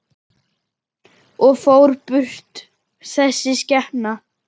Og fór burt, þessi skepna.